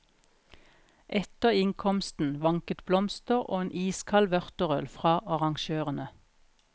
Etter innkomsten vanket blomster og en iskald vørterøl fra arrangørene.